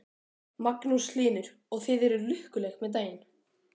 Magnús Hlynur: Og þið eruð lukkuleg með daginn?